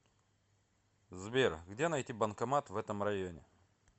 сбер где найти банкомат в этом районе